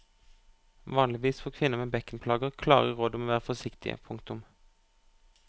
Vanligvis får kvinner med bekkenplager klare råd om å være forsiktige. punktum